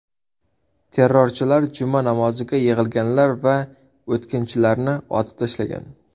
Terrorchilar juma namoziga yig‘ilganlar va o‘tkinchilarni otib tashlagan.